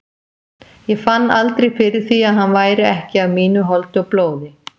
Ég fann aldrei fyrir því að hann væri ekki af mínu holdi og blóði.